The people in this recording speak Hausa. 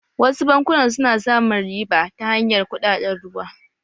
Wasu bankunan su na samun riba ta hanyar kuɗaɗen ruwa